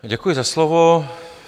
Děkuji za slovo.